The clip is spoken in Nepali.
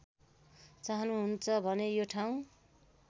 चाहनुहुन्छ भने यो ठाउँ